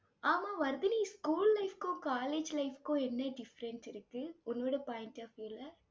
ஆமா, Vardhini school life க்கும் college life க்கும் என்ன difference இருக்கு உன்னோட point of view ல